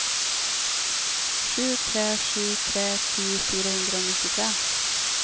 sju tre sju tre ti fire hundre og nittitre